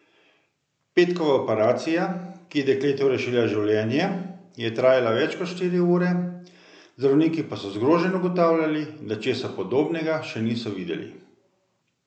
Petkova operacija, ki je dekletu rešila življenje, je trajala več kot štiri ure, zdravniki pa so zgroženi ugotavljali, da česa podobnega še niso videli.